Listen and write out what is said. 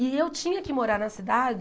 E eu tinha que morar na cidade